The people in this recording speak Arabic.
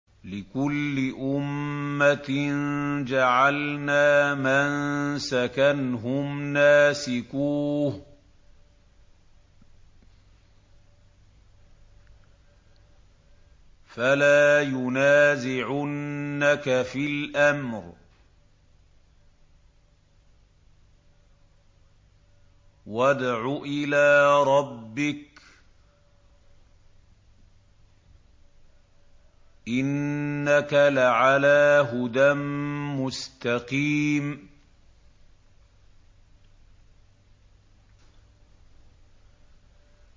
لِّكُلِّ أُمَّةٍ جَعَلْنَا مَنسَكًا هُمْ نَاسِكُوهُ ۖ فَلَا يُنَازِعُنَّكَ فِي الْأَمْرِ ۚ وَادْعُ إِلَىٰ رَبِّكَ ۖ إِنَّكَ لَعَلَىٰ هُدًى مُّسْتَقِيمٍ